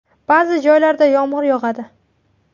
Ba’zi joylarda yomg‘ir yog‘adi.